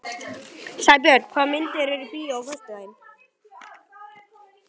Sæbjörn, hvaða myndir eru í bíó á föstudaginn?